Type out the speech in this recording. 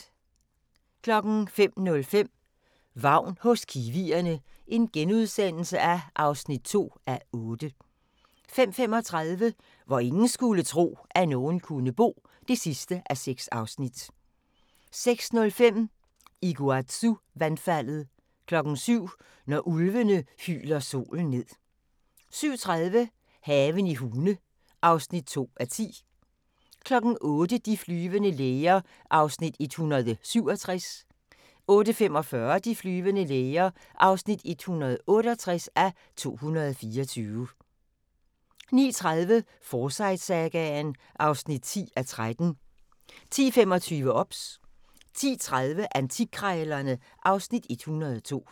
05:05: Vagn hos kiwierne (2:8)* 05:35: Hvor ingen skulle tro, at nogen kunne bo (6:6) 06:05: Iguazu-vandfaldet 07:00: Når ulvene hyler solen ned 07:30: Haven i Hune (2:10) 08:00: De flyvende læger (167:224) 08:45: De flyvende læger (168:224) 09:30: Forsyte-sagaen (10:13) 10:25: OBS 10:30: Antikkrejlerne (Afs. 102)